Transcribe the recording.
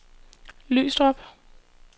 Lystrup